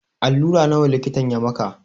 Alura nawa likitan ya maka?